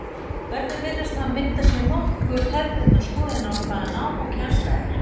Börnin virðast hafa myndað sér nokkuð hefðbundna skoðun á hvað nám og kennsla er.